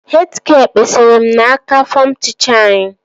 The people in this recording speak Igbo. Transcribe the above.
Hed gịel kpesara m n'aka fọm tịchaa anyị